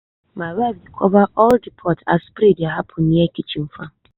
my wife dey cover all the pot as spray dey happen near kitchen farm.